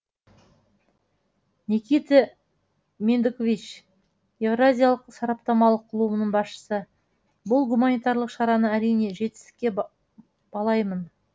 никита мендкович еуразиялық сараптамалық клубының басшысы бұл гуманитарлық шараны әрине жетістікке балаймын